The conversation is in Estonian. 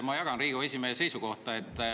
Ma jagan Riigikogu esimehe seisukohta.